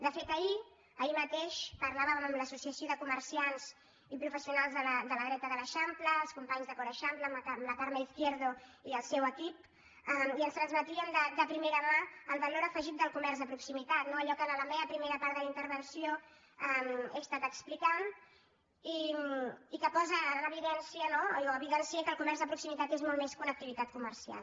de fet ahir ahir mateix parlàvem amb l’associació de comerciants i professionals de la dreta de l’eixample els companys de cor eixample amb la carme izquierdo i el seu equip i ens transmetien de primera mà el valor afegit del comerç de proximitat no allò que en la meva primera part de la intervenció he estat explicant i que posa en evidència no que el comerç de proximitat és molt més que una activitat comercial